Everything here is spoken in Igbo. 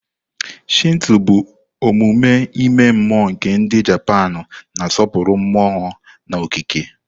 Shinto bụ omume ime mmụọ nke ndi Japanu, na-asọpụrụ mmụọ na okike.